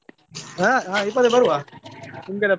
ಹ ಹಾ ಇಪ್ಪತ್ತೇಳಕ್ಕೆ ಬರುವ .